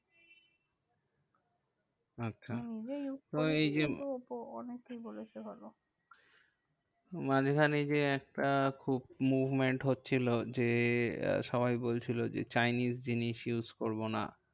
আচ্ছা হম যে use করেছে মানে এই যে ওপ্পো অনেকেই বলেছে ভালো। মাঝখানে যে আহ খুব movement হচ্ছিলো। যে সবাই বলছিল যে chinese জিনিস use করবো না।